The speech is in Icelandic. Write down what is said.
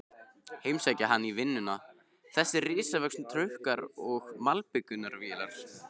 Heimsækja hann í vinnuna, þessir risavöxnu trukkar og malbikunarvélar.